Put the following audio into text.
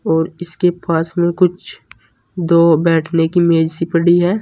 और इसके पास में कुछ दो बैठने की मेज सी पड़ी है।